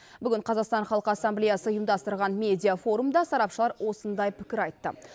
бүгін қазақстан халық ассамблеясы ұйымдастырған медиа форумда сарапшылар осындай пікір айтты